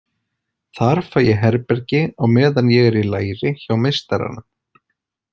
Þar fæ ég herbergi á meðan ég er í læri hjá meistaranum.